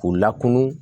K'u lakunun